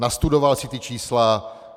Nastudoval si ta čísla.